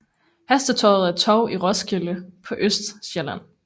Hestetorvet et torv i Roskilde på Østsjælland